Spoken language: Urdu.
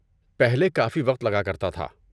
پہلے کافی وقت لگا کرتا تھا۔